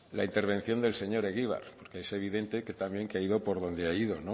la intervención del señor egibar porque es evidente también que ha ido por donde ha ido hombre